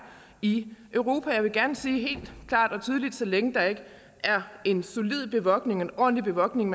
i europa jeg vil gerne sige helt klart og tydeligt så længe der ikke er en solid bevogtning en ordentlig bevogtning